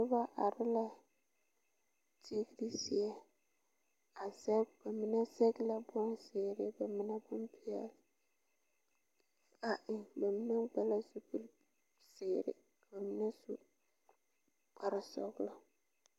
Noba are la tigiri zie, a zԑge ba mine zԑge la bonzeere ka mine meŋ, ……………………………………………….